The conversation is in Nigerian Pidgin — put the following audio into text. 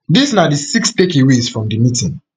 dis na six takeaways from di meeting